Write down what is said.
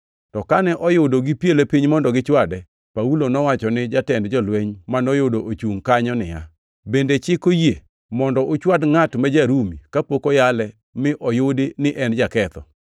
To kane oyudo gipiele piny mondo gichwade, Paulo nowacho ni jatend jolweny manoyudo ochungʼ kanyo niya, “Bende chik oyie mondo uchwad ngʼat ma ja-Rumi kapok oyale mi oyudi ni en jaketho?”